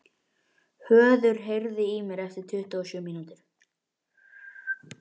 Höður, heyrðu í mér eftir tuttugu og sjö mínútur.